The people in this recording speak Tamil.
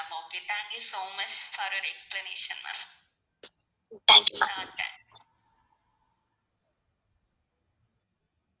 thank you mam